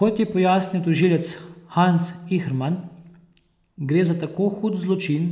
Kot je pojasnil tožilec Hans Ihrman, gre za tako hud zločin,